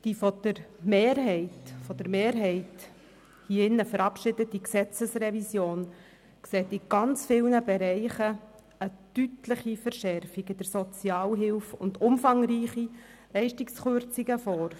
Die von der Mehrheit hier im Grossen Rat verabschiedete Gesetzesrevision sieht in sehr vielen Bereichen eine deutlicheVerschärfung in der Sozialhilfe und umfangreiche Leistungskürzungen vor.